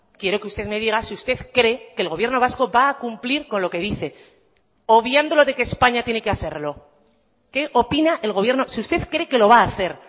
quiero que usted me diga si usted cree que el gobierno vasco va a cumplir con lo que dice obviando lo de que españa tiene que hacerlo qué opina el gobierno si usted cree que lo va a hacer